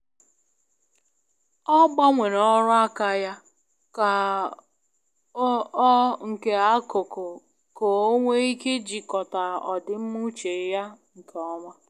Ọ gbanwere ọrụ aka ya ka ọ nke akuku k'onwe ike jikota odimma uche ya nke oma